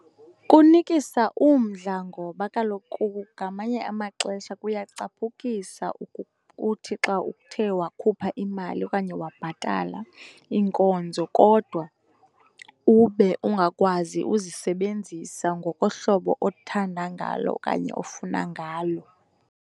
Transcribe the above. Kunikisa umdla ngoba kaloku ngamanye amaxesha kuyacaphukisa ukuthi xa uthe wakhupha imali okanye wabhatala iinkonzo kodwa ube ungakwazi uzisebenzisa ngokohlobo othanda ngalo okanye ofuna ngalo.